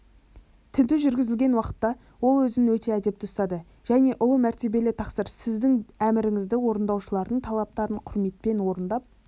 тінту жүргізілген уақытта ол өзін өте әдепті ұстады және ұлы мәртебелі тақсыр сіздің әміріңізді орындаушылардың талаптарын құрметпен орындап